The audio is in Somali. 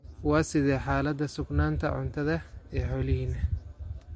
Waa sidee xaalada sugnaanta cuntada ee xoolihiina?